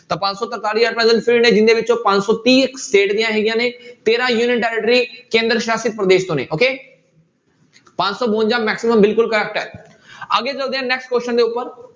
ਤਾਂ ਪੰਜ ਸੌ ਤਰਤਾਲੀ at present ਜਿਹਦੇ ਵਿੱਚੋਂ ਪੰਜ ਸੌ ਤੀਹ state ਦੀਆਂ ਹੈਗੀਆਂ ਨੇ ਤੇਰਾਂ territory ਕੇਂਦਰ ਸ਼ਾਸ਼ਿਤ ਪ੍ਰਦੇਸ਼ sorry okay ਪੰਜ ਸੌ ਬਵੰਜਾ maximum ਬਿਲਕੁਲ correct ਹੈ ਅੱਗੇ ਚੱਲਦੇ ਹਾਂ next question ਦੇ ਉੱਪਰ।